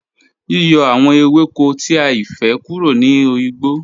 Yíyọ̀̀ àwọn èwẹ́kò tí àìfẹ́̀ kúrò ní ọigbọ̀